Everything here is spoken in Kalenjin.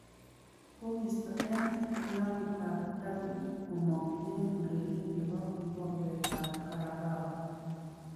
Kogiisto eng klabuit ab derby komong eng ureriet nebo kekombet ab carabao